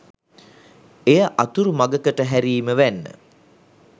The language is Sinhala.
එය අතුරු මඟකට හැරීම වැන්න.